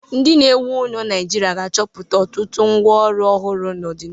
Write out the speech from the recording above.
Ndi na-ewu ụlọ naijirịa ga-achọpụta ọ tụtụ ngwa ọrụ ọhụrụ n'ọdinihu.